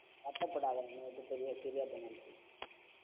வருத்தப்படாதே என்னைவிட்டு பிரிய~ பிரியறத நெனச்சு